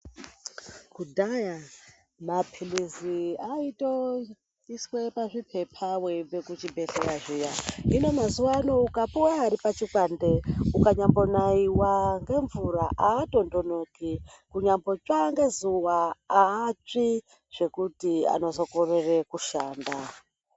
Kudhaya mapilizi aiswa pazvipepa weibva kuzvibhehleya zviya hino mazuva ano ukapuwa Ari pazvikwande haasvi ngezuwa kana kunaiwa ngemvura zvekuti anozokorera kushanda.